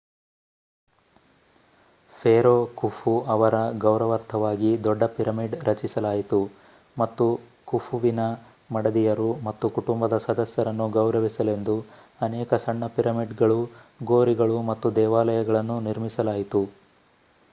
Pharaoh Khufu ಅವರ ಗೌರವಾರ್ಥವಾಗಿ ದೊಡ್ಡ ಪಿರಮಿಡ್ ರಚಿಸಲಾಯಿತು ಮತ್ತು ಖುಫುವಿನ ಮಡದಿಯರು ಮತ್ತು ಕುಟುಂಬ ಸದಸ್ಯರನ್ನು ಗೌರವಿಸಲೆಂದು ಅನೇಕ ಸಣ್ಣ ಪಿರಮಿಡ್‌ಗಳು ಗೋರಿಗಳು ಮತ್ತು ದೇವಾಲಯಗಳನ್ನು ನಿರ್ಮಿಸಲಾಯಿತು